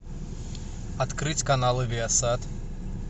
открыть каналы виасат